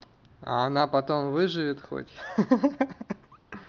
а она потом выживет хоть ха-ха